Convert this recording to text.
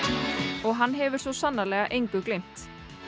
og hann hefur svo sannarlega engu gleymt